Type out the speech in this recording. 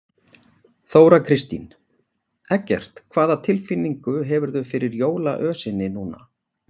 Þóra Kristín: Eggert, hvaða tilfinningu hefurðu fyrir jólaösinni núna?